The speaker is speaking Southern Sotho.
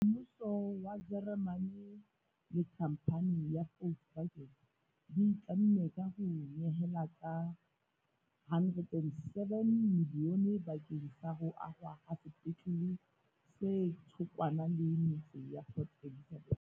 Mmuso wa Jeremane le khamphane ya Volkswagen di itlamme ka ho nyehela ka R107 milione bakeng sa ho ahwa ha sepetlele se thokwana le metse Port Elizabeth.